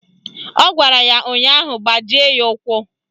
Ọ gwara ya ụnyaahụ " Gbajie ya ụkwụ"!